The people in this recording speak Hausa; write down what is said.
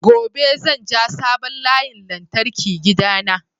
Gobe zan ja sabon layin lantarki gida na